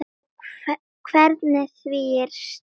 Og hvernig því er stýrt.